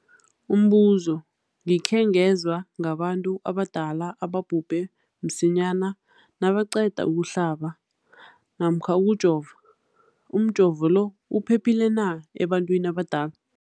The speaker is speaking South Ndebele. Umbuzo, gikhe ngezwa ngabantu abadala ababhubhe msinyana nabaqeda ukuhlaba namkha ukujova. Umjovo lo uphephile na ebantwini abadala?